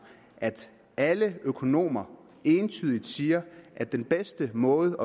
at alle økonomer entydigt siger at den bedste måde